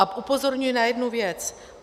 A upozorňuji na jednu věc.